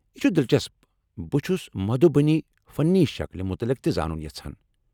یہِ چُھ دِلچسپ ، بہٕ چُھس مدھوٗبنی فنی شكلہِ متعلق تہِ زانُن یژھان ۔